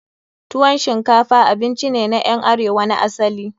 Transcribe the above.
Tuwon shinkafa abinci ne na ƴan arewa na asali.